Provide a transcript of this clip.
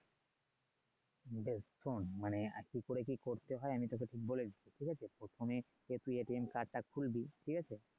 দোস্ত শোন মানে কি করে কি করতে হয় আমি তোকে ঠিক বলে দিচ্ছি ঠিক আছে প্রথমে তুই কার্ড টা খুলবি ঠিক আছে?